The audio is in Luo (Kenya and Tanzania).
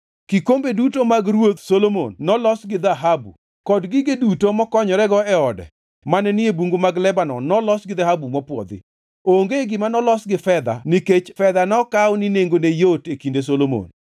Kikombe duto mag Ruoth Solomon nolos gi dhahabu, kod gige ot duto mokonyorego e ode mane ni e Bungu mag Lebanon nolos gi dhahabu mopwodhi. Onge gima nolos gi fedha nikech fedha nokaw ni nengone yot e kinde Solomon.